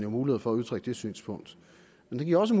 mulighed for at udtrykke det synspunkt men den giver også